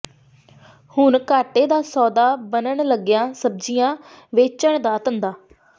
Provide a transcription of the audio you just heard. ਹੁਣ ਘਾਟੇ ਦਾ ਸੌਦਾ ਬਣਨ ਲੱਗਿਆ ਸਬਜ਼ੀਆਂ ਵੇਚਣ ਦਾ ਧੰਦਾ